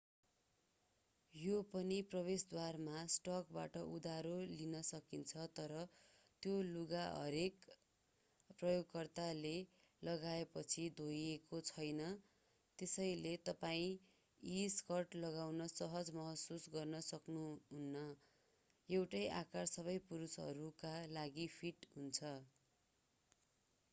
यो पनि प्रवेशद्वारमा स्टकबाट उधारो लिन सकिन्छ तर त्यो लुगा हरेक प्रयोगकर्ताले लगाएपछि धोइएको छैन त्यसैले तपाईं यी स्कर्ट लगाउन सहज महसुस गर्न सक्नुहुन्न एउटै आकार सबै पुरुषहरूका लागि फिट हुन्छ